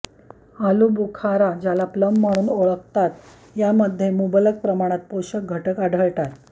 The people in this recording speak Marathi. आलू बुखारा ज्याला प्लम म्हणून ओळखतात या मध्ये मुबलक प्रमाणात पोषक घटक आढळतात